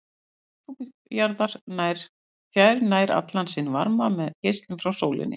Lofthjúpur jarðar fær nær allan sinn varma með geislun frá sólinni.